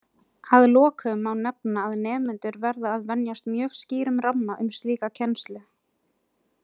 Að lokum má nefna að nemendur verða að venjast mjög skýrum ramma um slíka kennslu.